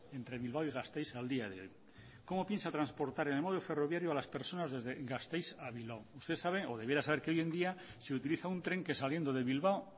entre bilbao y gasteiz al día de hoy cómo piensa transportar en el medio ferroviario a las personas desde gasteiz a bilbao usted sabe o debiera saber que hoy en día se utiliza un tren que saliendo de bilbao